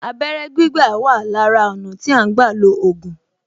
Abẹ́rẹ́ gbígbà wà lára ọ̀nà tí à ń gbà lo ògùn